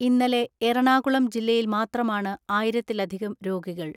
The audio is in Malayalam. ഇന്നലെ എറണാകുളം ജില്ലയിൽ മാത്രമാണ് ആയിരത്തിലധികം രോഗികൾ.